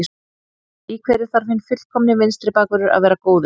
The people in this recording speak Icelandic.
Í hverju þarf hinn fullkomni vinstri bakvörður að vera góður í?